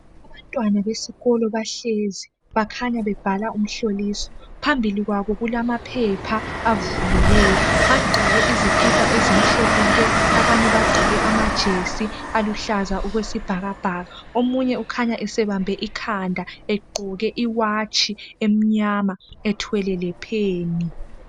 Abantwana besikolo bahlezi bakhanya bebhala umihloliso phambili kwabo kulamaphepha avuliweyo bagqoke izikipa ezimhlophe nke abanye bagqoke amajesi aluhlaza okwesibhakabhaka omunye ukhanya esibambe ikhanda egqoke iwatshi emnyama ethwele lepheni